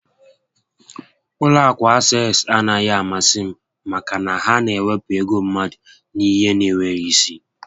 Ụlọ akụ Access anaghị amasị m maka na ha na ewepụ ego mmadụ n'ihe n'enweghị isi